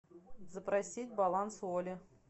запросить баланс оли